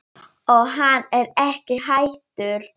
Og hann er ekki hættur.